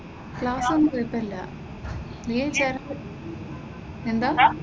ക്ലാസ്സൊന്നും കുഴപ്പമില്ല , എന്താ?